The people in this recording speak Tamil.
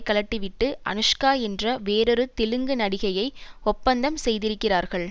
கழட்டிவிட்டு அனுஷ்கா என்ற வேறொரு தெலுங்கு நடிகையை ஒப்பந்தம் செய்திருக்கிறார்கள்